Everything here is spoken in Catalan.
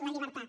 la llibertat